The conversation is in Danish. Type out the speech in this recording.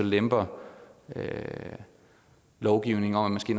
lemper lovgivningen om